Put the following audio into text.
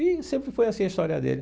E sempre foi assim a história dele.